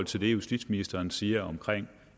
til det justitsministeren siger om